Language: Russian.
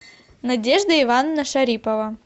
надежда ивановна шарипова